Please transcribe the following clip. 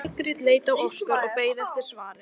Margrét leit á Óskar og beið eftir svari.